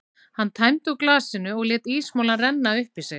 Hann tæmdi úr glasinu og lét ísmolann renna upp í sig.